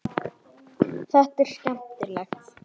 Þetta er skemmtilegt.